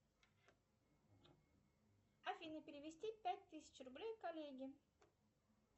афина перевести пять тысяч рублей коллеге